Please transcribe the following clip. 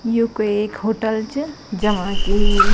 यु कुई एक होटल च जमा की --